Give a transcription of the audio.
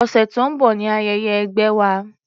Ọ̀sẹ̀ tó ń bọ̀ ni ayẹyẹ ẹgbẹ́ wa.